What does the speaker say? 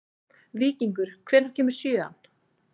Víkingur, hvenær kemur sjöan?